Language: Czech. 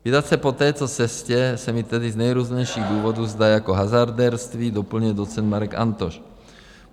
Vydat se po této cestě se mi tedy z nejrůznějších důvodů zdá jako hazardérství, doplňuje docent Marek Antoš.